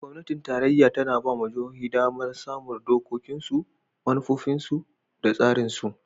Gwamnatin Tarayya ta na ba wa jihohi damar samun dokokinsu, manufofinsu, da tsarinsu.